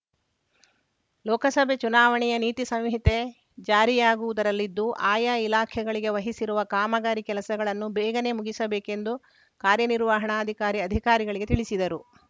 ಲೋಕಸಭೆ ಚುನಾವಣೆಯ ನೀತಿ ಸಂಹಿತೆ ಜಾರಿಯಾಗುವುದರಲ್ಲಿದ್ದು ಆಯಾ ಇಲಾಖೆಗಳಿಗೆ ವಹಿಸಿರುವ ಕಾಮಗಾರಿ ಕೆಲಸಗಳನ್ನು ಬೇಗನೆ ಮುಗಿಸಬೇಕೆಂದು ಕಾರ್ಯನಿರ್ವಾಣಾಧಿಕಾರಿ ಅಧಿಕಾರಿಗಳಿಗೆ ತಿಳಿಸಿದರು